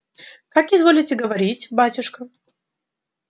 как изволите говорить батюшка